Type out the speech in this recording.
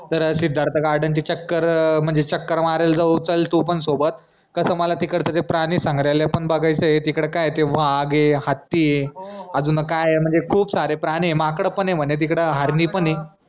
तर सिद्धार्थ garden ची चक्कर अं म्हनजे चक्कर मारायला जाऊ चल तू पन सोबत कस मला तिकडचं ते प्राणी संग्रहालय पन बघायचंय तिकडं काय ते वाघ ए हत्ती ए अजून काय म्हनजे खूप सारे प्राणी ए माकड पन ए म्हने तिकडं